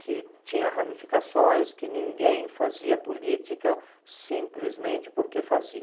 que tinha ramificações, que ninguém fazia política simplesmente porque fazia.